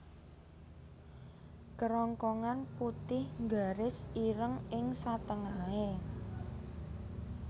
Kerongkongan putih nggaris ireng ing satengahe